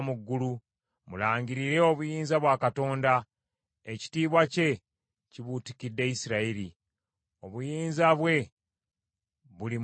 Mulangirire obuyinza bwa Katonda, ekitiibwa kye kibuutikidde Isirayiri; obuyinza bwe buli mu bire.